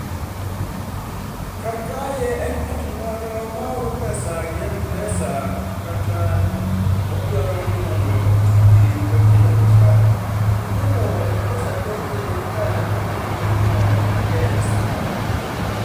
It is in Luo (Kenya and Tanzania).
Kar kae en ngat moro maoro pesa gi Mpesa kata odwaroni mondo otii gi Pochi la Biashara to koro Mpesa penje ka diponi nyingno en yes kata no